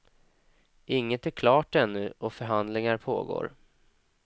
Inget är klart ännu och förhandlingar pågår.